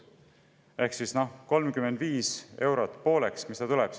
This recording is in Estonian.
Ehk siis 35 eurot pooleks – mis ta siis tuleb?